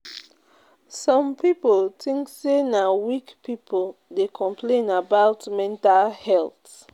Some pipo tink sey na weak pipo dey complain about mental health.